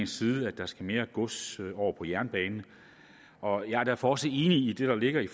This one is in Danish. side at der skal mere gods over på jernbane og jeg er derfor også enig i det der ligger i